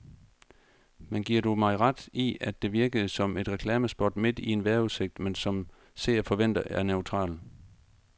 Men giver du mig ret i, at det virkede som et reklamespot midt i en vejrudsigt, man som seer forventer er neutral.